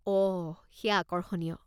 অহ, সেয়া আকৰ্ষণীয়।